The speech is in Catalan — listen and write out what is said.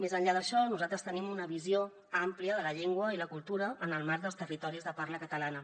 més enllà d’això nosaltres tenim una visió àmplia de la llengua i la cultura en el marc dels territoris de parla catalana